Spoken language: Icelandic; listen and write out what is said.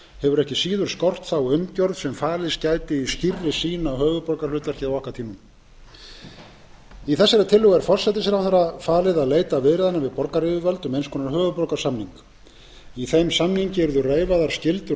hefur ekki síður skort þá umgjörð sem falist gæti í skýrri sýn á höfuðborgarhlutverkið á okkar tímum í tillögunni er forsætisráðherra falið að leita viðræðna við borgaryfirvöld um eins konar höfuðborgarsamning í þeim samningi yrðu reifaðar skyldur